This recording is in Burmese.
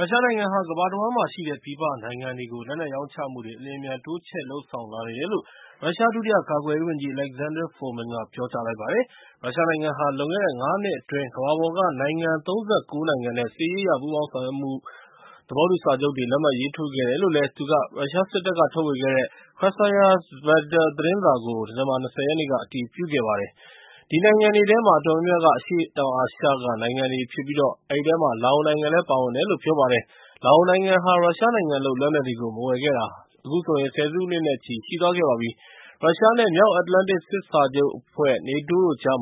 ရုရှားနိုင်ငံဟာ ကမ္ဘာတဝှမ်းမှာရှိတဲ့ ပြည်ပနိုင်ငံတွေကို လက်နက်ရောင်းချမှုတွေ အလျှင်အမြန် တိုးချဲ့လုပ်ဆောင်လာနေတယ်လို့ ရုရှား ဒုတိယကာကွယ်ရေးဝန်ကြီး Alexander Fomin က ပြောလိုက်ပါတယ်။ ရုရှားနိုင်ငံဟာ လွန်ခဲ့တဲ့ ၅ နှစ်အတွင်း ကမ္ဘာပေါ်က နိုင်ငံ ၃၉ နိုင်ငံနဲ့ စစ်ရေးအရ ပူးပေါင်းဆောင်ရွက်မှု သဘောတူစာချုပ်တွေကို လက်မှတ်ရေးထိုးခဲ့တယ်လု့ိ သူက ရုရှားစစ်တပ်က ထုတ်ဝေတဲ့ Krasaya Zvezda သတင်းစာကို ဒီဇင်ဘာ ၂၀ ရက်နေ့ အတည်ပြုခဲ့ပါတယ်။ အဲဒီနိုင်ငံတွေထဲမှာ အတော်များများက အရှေ့တောင်အာရှက နိုင်ငံတွေဖြစ်ပြီး လာအိုနိုင်ငံလည်း ပါဝင်တယ်လို့ ပြောပါတယ်။ လာအိုနိုင်ငံဟာ ရုရှားနိုင်ငံလုပ် လက်နက်တွေကို မဝယ်ခဲ့တာ ဆယ်စုနှစ်နဲ့ချီပြီး ရှိသွားခဲ့ပါပြီ။ ရုရှားနဲ့ မြောက်အတ္တလန္တိတ် စစ်စာချုပ်အဖွဲ့ (NATO) တို့ကြား